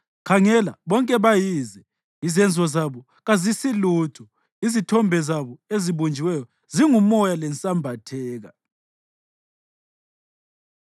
Khangela, bonke bayize! Izenzo zabo kazisilutho; izithombe zabo ezibunjiweyo zingumoya lensambatheka.”